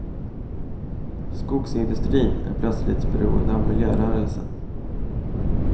Skogsindustrin är plötsligt beroende av miljörörelsen.